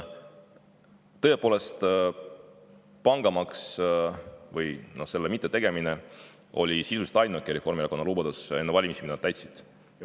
Tõepoolest, pangamaks või selle mittetegemine on sisuliselt ainuke Reformierakonna enne valimisi antud lubadus, mida nad on täitnud.